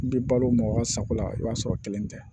N'i balo ma o ka sago la i b'a sɔrɔ kelen tɛ